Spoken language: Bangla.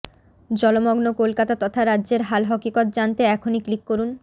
জলমগ্ন কলকাতা তথা রাজ্যের হালহকিকত জানতে এখনই ক্লিক করুন